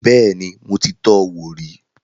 Bẹ́ẹ̀ni, mo ti tọ wò rí